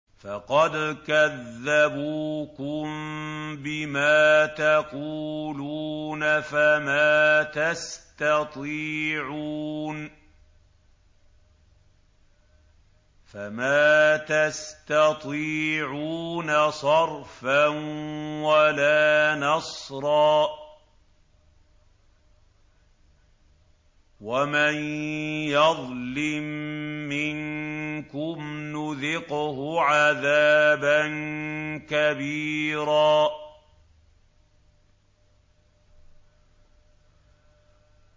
فَقَدْ كَذَّبُوكُم بِمَا تَقُولُونَ فَمَا تَسْتَطِيعُونَ صَرْفًا وَلَا نَصْرًا ۚ وَمَن يَظْلِم مِّنكُمْ نُذِقْهُ عَذَابًا كَبِيرًا